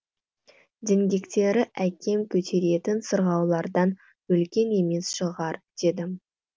діңгектері әкем көтеретін сырғауылдардан үлкен емес шығар дедім